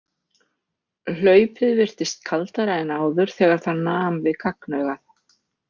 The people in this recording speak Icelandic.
Hlaupið virtist kaldara en áður þegar það nam við gagnaugað.